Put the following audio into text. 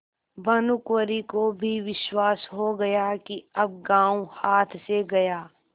भानुकुँवरि को भी विश्वास हो गया कि अब गॉँव हाथ से गया